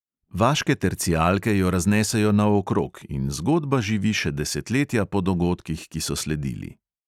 Vaške tercijalke jo raznesejo naokrog in zgodba živi še desetletja po dogodkih, ki so sledili.